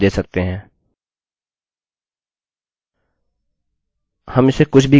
हम इसे कुछ भी कह सकते हैं किन्तु मैं वेल्यू टाइप करूँगा